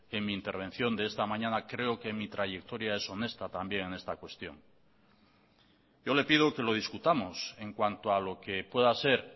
en mi intervención de esta mañana creo que mi trayectoria es honesta también en esta cuestión yo le pido que lo discutamos en cuanto a lo que pueda ser